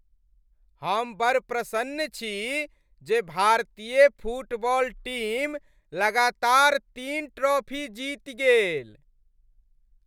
हम बड़ प्रसन्न छी जे भारतीय फुटबॉल टीम लगातार तीन ट्रॉफी जीति गेल।